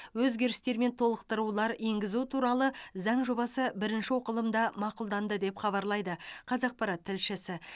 өзгерістер мен толықтырулар енгізу туралы заң жобасы бірінші оқылымда мақұлданды деп хабарлайды қазақпарат тілшісі